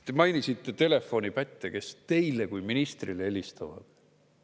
Te mainisite telefonipätte, kes teile kui ministrile helistavad.